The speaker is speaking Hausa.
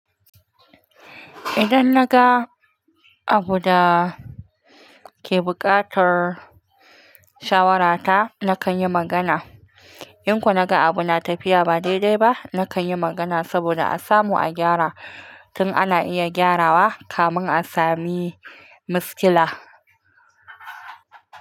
Idan naga abu da ke buƙatar shawarata, nakan yi magana. In kuma naga abu na tafiya ba daidai ba, nakan yi magana saboda a samu a gyara tin ana iya gyarawa, kamin a sami matsala.